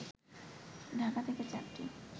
ঢাকা থেকে চারটি